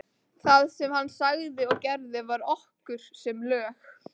Það sem hann sagði og gerði var okkur sem lög.